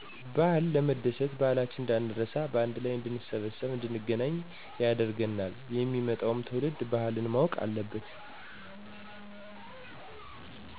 ባህል ለመደሰት ባህላችንን እንዳንረሳ በአንድ ላይ እንድንሰበሰብ እንድንገናኝ ያደርገናል። የሚመጣዉም ትዉልድ ባህል ማወቅ ስላለበት።